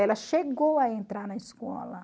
Ela chegou a entrar na escola.